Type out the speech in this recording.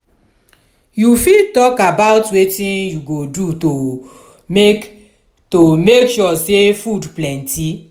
you fit talk about wetin you go do to make to make sure say food plenty?